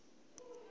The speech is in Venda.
lufule